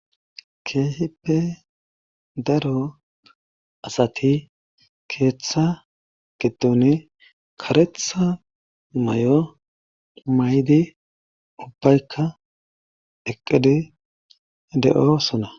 keehippe daro asati keeththa geduni karetha may7o maydi ubbaykka eqqedi de7o suna